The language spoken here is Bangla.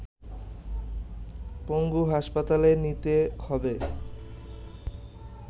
পঙ্গু হাসপাতালে নিতে হবে